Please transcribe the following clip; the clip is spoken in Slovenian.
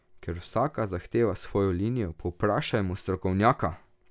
Ker vsaka zahteva svojo linijo, povprašajmo strokovnjaka!